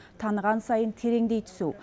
таныған сайын тереңдей түсу